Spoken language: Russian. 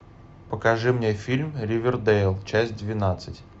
покажи мне фильм ривердэйл часть двенадцать